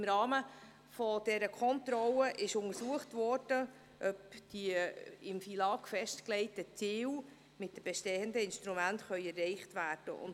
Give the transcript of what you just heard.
Im Rahmen dieser Kontrolle wurde untersucht, ob die im FILAG festgelegten Ziele mit den bestehenden Instrumenten erreicht werden können.